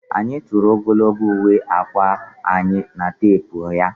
Ọ tụrụ ogologo uwe akwa anyị na teepu ya